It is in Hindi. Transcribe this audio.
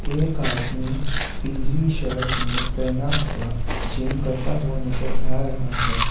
एक आदमी पीली शर्ट में पेहना हुआ जिम करता हुआ नजर आ रहा है।